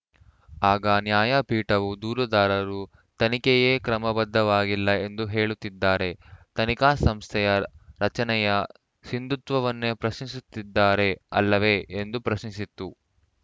ಆಗ ನ್ಯಾಯಪೀಠವು ದೂರುದಾರರು ತನಿಖೆಯೇ ಕ್ರಮಬದ್ಧವಾಗಿಲ್ಲ ಎಂದು ಹೇಳುತ್ತಿದ್ದಾರೆ ತನಿಖಾ ಸಂಸ್ಥೆಯ ರಚನೆಯ ಸಿಂಧುತ್ವವನ್ನೇ ಪ್ರಶ್ನಿಸುತ್ತಿದ್ದಾರೆ ಅಲ್ಲವೇ ಎಂದು ಪ್ರಶ್ನಿಸಿತು